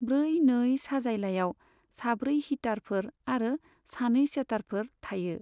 ब्रै नै साजायलायाव साब्रै हिटारफोर आरो सानै सेटारफोर थायो।